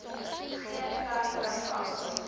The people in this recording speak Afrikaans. geen verdere vangs